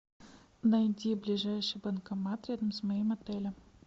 найди ближайший банкомат рядом с моим отелем